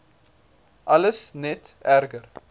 alles net erger